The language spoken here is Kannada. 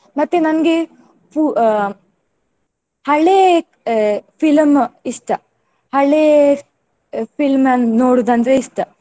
ಮತ್ತೆ ನನ್ಗೆ ಫು~ ಅಹ್ ಹಳೇ film ಇಷ್ಟ. ಹಳೇ film ನನ್ನು ನೋಡುವುದಂದ್ರೆ ಇಷ್ಟ.